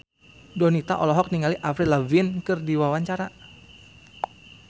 Donita olohok ningali Avril Lavigne keur diwawancara